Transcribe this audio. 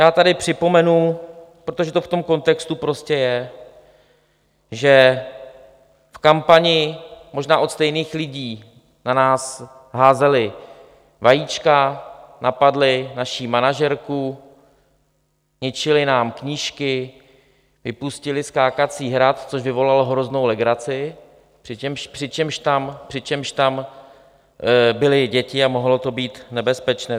Já tady připomenu, protože to v tom kontextu prostě je, že v kampani možná od stejných lidí na nás házeli vajíčka, napadli naši manažerku, ničili nám knížky, vypustili skákací hrad, což vyvolalo hroznou legraci, přičemž tam byly děti a mohlo to být nebezpečné.